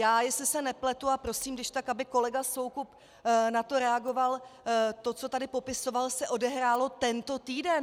Já, jestli se nepletu, a prosím když tak, aby kolega Soukup na to reagoval, to, co tady popisoval, se odehrálo tento týden!